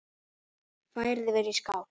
Færið yfir í skál.